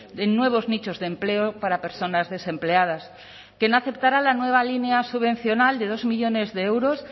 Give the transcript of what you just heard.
de nuevos nichos de empleo para personas desempleadas que no aceptará la nueva línea subvencional de dos millónes de euros